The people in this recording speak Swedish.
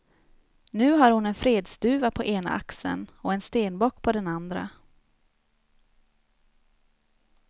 Nu har hon en fredsduva på ena axeln och en stenbock på den andra.